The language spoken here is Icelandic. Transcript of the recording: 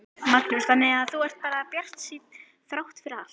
Magnús: Þannig að þú ert bara bjartsýnn þrátt fyrir allt?